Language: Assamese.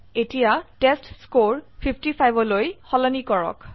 এতিয়া টেষ্টস্কৰে 55 লৈ সলনি কৰক